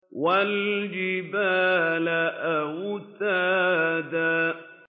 وَالْجِبَالَ أَوْتَادًا